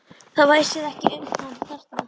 Það væsir ekki um hann þarna.